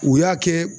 U y'a kɛ